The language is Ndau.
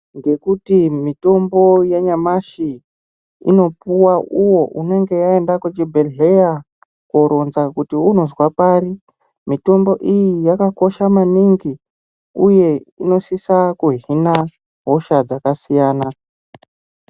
Ngekuti mitombo yanyamashi inopuwa uwo unenge aenda kuchibhehleya kooronza kuti unozwa pari. Mitombo iyi yakakosha maningi uye inosisa kuhina hosha dzakasiyana.